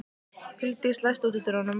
Huldís, læstu útidyrunum.